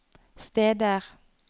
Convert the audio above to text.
steder